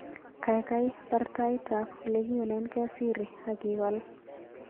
Gaigai baar taitab olegiunenge Siri agiwal